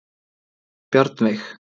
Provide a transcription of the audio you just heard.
Bjarnveig